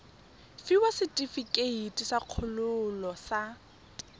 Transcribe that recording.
fiwa setefikeiti sa kgololo sa